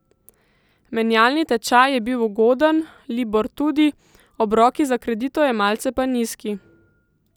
Menjalni tečaj je bil ugoden, libor tudi, obroki za kreditojemalce pa nizki.